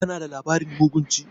Kana da labarin mugun ci?